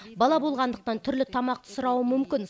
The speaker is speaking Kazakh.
бала болғандықтан түрлі тамақты сұрауы мүмкін